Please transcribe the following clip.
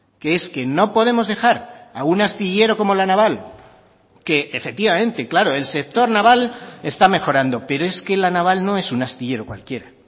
que es que no podemos dejar a un astillero como la naval que efectivamente claro el sector naval está mejorando pero es que la naval no es un astillero cualquiera